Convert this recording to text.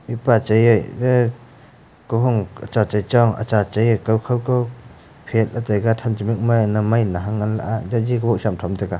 mihpa chai ee aa kahung ka cha chai cha acha chai ee kau kho ka phetley taiga than cha mikma ee na mai na hangla aa jaji go sam tham taga.